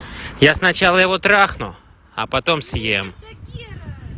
я сначала его трахну а потом съем